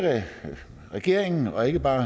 regeringen og ikke bare